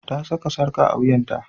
Ta saka sarka a wuyanta.